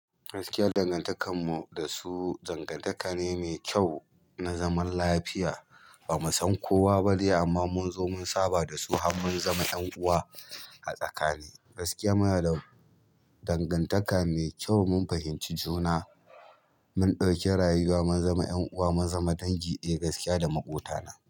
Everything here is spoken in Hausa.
Gaskiya dangantakar mu da su dangantaka ne mai kyau na zaman lafiya. Ba mu san kowa ba ne amma mun zo mun saba da su har mun zama ƴan uwa a tsakani. Gaskiya mana dangantaka mai kyau mun fahimci juna, mun ɗauki rayuwa mun zama ƴanuwa, mun zama dangi. Eh gaskiya da maƙota na.